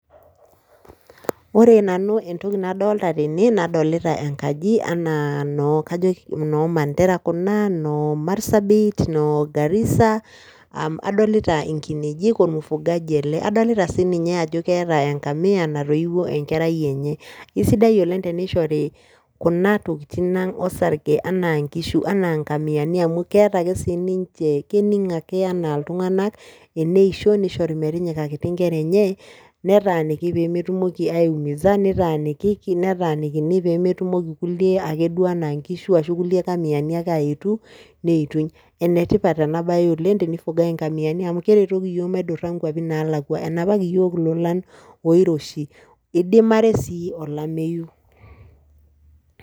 Ore nanu entoki nadolta tene nadolita enkaji enaa noo kajo noo Mandera kuna, noo Marsabit, noo Garissa, um adolita inkinejik ormufugaji ele, adolita sii ninye ajo keeta eng'amia natoiwuo enkerai enye. Kisidai oleng' tenishori kuna tokitin ang' osarge anaa nkishu, anaa ng'amiani amu keeta ake sii ninje, kening' ake enaa iltung'anak eneisho nishori metinyikaki nkera enye, netaaniki pee metumoki aiumiza nitaanikiki, netaanikini pee metumoki kulie ake duo anaa nkishu ashu kulie kamianiake duo aaetu neituny. Ene tipat ena baye oleng' tenifugai ing'amiani oleng' amu keretoki iyiok maidura nkuapi naalakua, enapaki iyiok ilolan oiroshi, idimare sii olameyu.